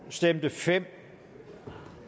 stemte fem